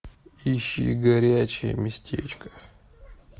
ищи горячее местечко